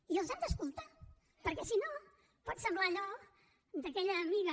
i els han d’escoltar perquè si no pot semblar allò d’aquella amiga